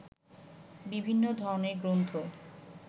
বিভিন্ন ধরনের গ্রন্থ